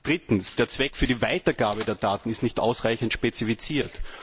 Drittens Der Zweck für die Weitergabe der Daten ist nicht ausreichend spezifiziert.